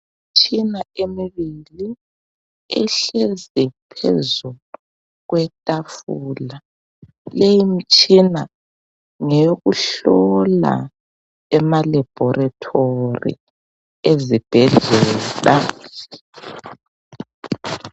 Imitshina emibili, ehlezi phezu kwetafula. Lemitshina ngeyokuhlola, emaLaboratory ezibhedlela.